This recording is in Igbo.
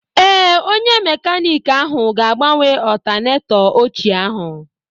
Ee, onye mekaniiki ahụ ga-agbanwe ọltanetọ ochie ahụ